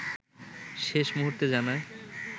শেষ মূহুর্তে জানায়